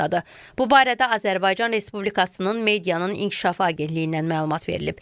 Bu barədə Azərbaycan Respublikasının Medianın İnkişafı Agentliyindən məlumat verilib.